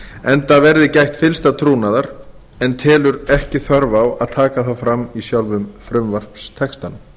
enda verði gætt fyllsta trúnaðar en telur ekki þörf á að taka það fram í sjálfum frumvarpstextanum